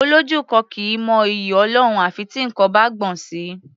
Olójú kan kì í mọ'yì Ọlọ́run à fi tí nǹkan bá gbọ̀n sí i.